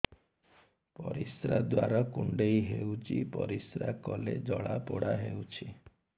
ପରିଶ୍ରା ଦ୍ୱାର କୁଣ୍ଡେଇ ହେଉଚି ପରିଶ୍ରା କଲେ ଜଳାପୋଡା ହେଉଛି